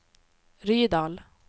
Rydal